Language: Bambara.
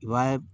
I b'a ye